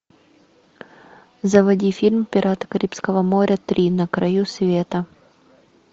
заводи фильм пираты карибского моря три на краю света